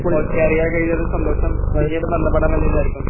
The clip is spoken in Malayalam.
ഓക്കേ അറിയാൻ കഴിഞ്ഞതിൽ സന്തോഷം പിന്നീട് ബന്ധപ്പെടാമെന്ന് വിചാരിക്കുന്നു.